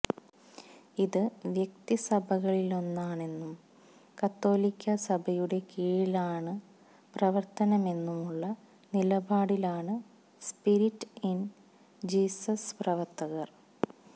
ഇത് വ്യക്തിസഭകളിലൊന്നാണെന്നും കത്തോലിക്കാ സഭയുടെ കീഴിലാണു പ്രവർത്തനമെന്നുമുള്ള നിലപാടിലാണ് സ്പിരിറ്റ് ഇൻ ജീസസ് പ്രവർത്തകർ